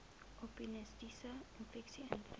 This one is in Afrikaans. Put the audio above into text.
opportunistiese infeksies intree